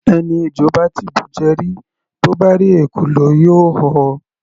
Ẹni ejò bá ti bùjẹ rí, bó bá rí ekòló, yóò họ.